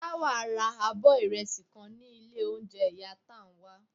Tawa ra o abọ irẹsi kan ni ilé ounjẹ iya Tánwa.